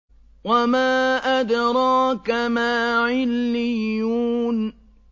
وَمَا أَدْرَاكَ مَا عِلِّيُّونَ